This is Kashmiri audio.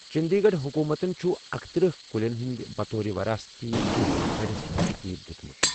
چٔنٛدی گَڑھ حُکوٗمَتن چھٗ اکتٕرہ کُلیٚن ہٗند بطور وَرٲثتی کُلہِ فہرِست ترتیب دِیوٗتٕٗمت ۔